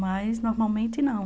Mas, normalmente, não.